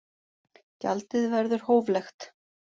Gjaldið verður hóflegt